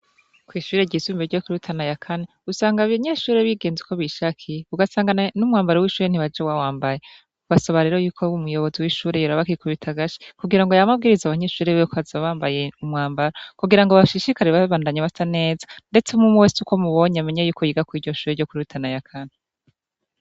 Kw'ishure ry'isumi ryo kurutana ya kani usanga bainyeshure bigenze uko bishakiye ugasangana n'umwambaro w'ishure ntibaje wawambaye ubasabarero yuko b umuyobozi w'ishure yora bakikubita agashi kugira ngo ya mabwiriza abanyeshure biwe koaza bambaye umwambaro kugira ngo bashishikarir babandanye basa neza, ndetse mumu wese uko mubonye amenye yuko yiga kw'iryo shure ryo kurutana ya kani.